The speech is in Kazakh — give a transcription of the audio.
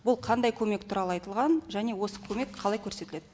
бұл қандай көмек туралы айтылған және осы көмек қалай көрсетіледі